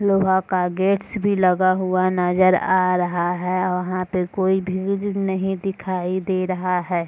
लोहा का गेट्स भी लगा हुआ नजर आ रहा है वहाँ पे कोई भीड़ नहीं दिखाई दे रहा है।